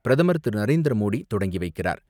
பிரதமர் திரு. நரேந்திர மோடி தொடக்கி வைக்கிறார்.